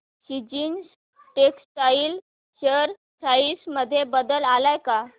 seasons textile share price मध्ये बदल आलाय का